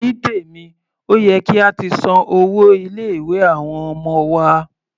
Onítèmí, ó yẹ kí a ti san owó ilé-ìwé àwọn ọmọ wa.